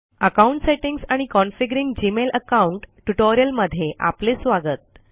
account settings आणि configuring Gmail account tutorial मध्ये आपले स्वागत